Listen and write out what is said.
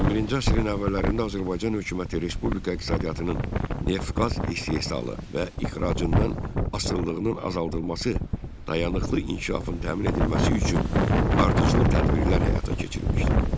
21-ci əsrin əvvəllərində Azərbaycan hökuməti respublika iqtisadiyyatının neft-qaz istehsalı və ixracından asılılığının azaldılması, dayanıqlı inkişafın təmin edilməsi üçün ardıcıl tədbirlər həyata keçirmişdi.